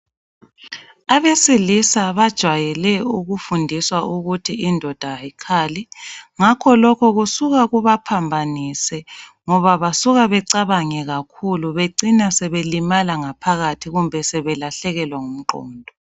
Abesilisa bajwayele ukufundiswa ukuthi indoda ayikhali ngakho lokho kusuka kubaphambanise ngoba basuka becabange kakhulu becina sebelimala ngaphakathi kumbe sebelahlekelwa ngumqondo.